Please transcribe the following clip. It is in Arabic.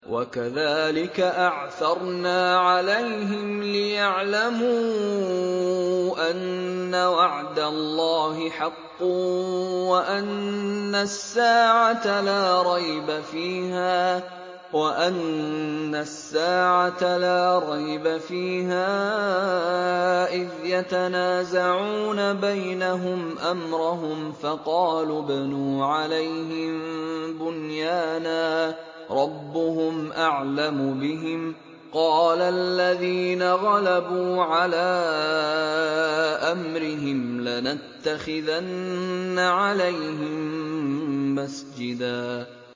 وَكَذَٰلِكَ أَعْثَرْنَا عَلَيْهِمْ لِيَعْلَمُوا أَنَّ وَعْدَ اللَّهِ حَقٌّ وَأَنَّ السَّاعَةَ لَا رَيْبَ فِيهَا إِذْ يَتَنَازَعُونَ بَيْنَهُمْ أَمْرَهُمْ ۖ فَقَالُوا ابْنُوا عَلَيْهِم بُنْيَانًا ۖ رَّبُّهُمْ أَعْلَمُ بِهِمْ ۚ قَالَ الَّذِينَ غَلَبُوا عَلَىٰ أَمْرِهِمْ لَنَتَّخِذَنَّ عَلَيْهِم مَّسْجِدًا